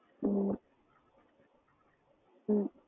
ஓ ஹம்